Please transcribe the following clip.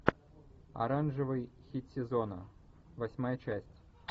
оранжевый хит сезона восьмая часть